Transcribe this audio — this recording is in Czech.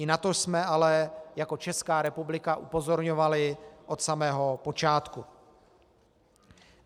I na to jsme ale jako Česká republika upozorňovali od samého počátku.